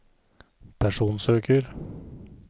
personsøker